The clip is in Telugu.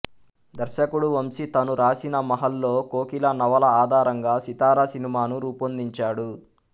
దర్శకుడు వంశీ తను రాసిన మహల్లో కోకిల నవల ఆధారంగా సితార సినిమాను రూపొందించాడు